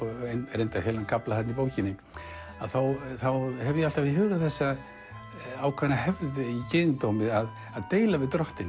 reyndar heilan kafla þarna í bókinni þá hef ég alltaf í huga þessa ákveðnu hefð í gyðingdómi að deila við drottin